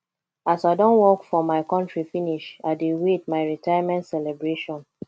as i don work for my contri finish i dey wait my retirement celebration